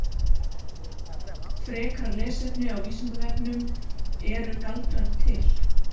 Frekara lesefni á Vísindavefnum: Eru galdrar til?